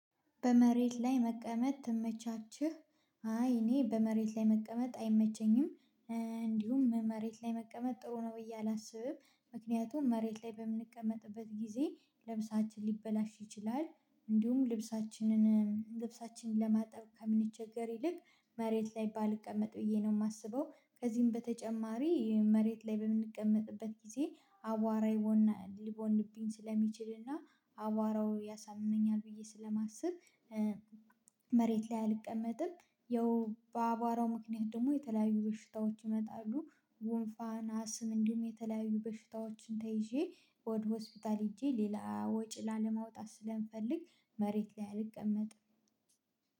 በመሬት ላይ መቀመጥ ትመቻችህ? አይ እኔ በመሬት ላይ መቀመጥ አይመቸኝም። እንዲሁም መሬት ላይ መቀመጥ ጥሩ ነው እላሰብም። ምክንያቱም መሬት ላይ በምንቀመጥበት ጊዜ ለምሳሌ ልብሳችን ሊበላሽ ይችላል። እንዲሁም ልብሳችንን ልብሳችንን ለማጠብ ከምንቸገር ይልቅ መሬት ላይ ባልቀመጥ ብዬ ነው የማስበው። ከዚህም በተጨማሪ መሬት ላይ በምንቀመጥበት ጊዜ አቧራ ይቦናል ሊቦንብኝ ስለሚችልና አቧራው ያሳምመኛል ብዬ ስለማስብ መሬት ላይ አልቀመጥም። ያው በአቧራው ምክንያት ደግሞ የተለያዩ በሽታዎች ይመጣሉ። ጉንፋን አስም እንዲሁም የተለያዩ በሽታዎችን ተይዤ ወደ ሆስፒታል ሄጄ ሌላ ወጪ ላለማውጣት ስለምፈልግ። መሬት ላይ አልቀመጥም።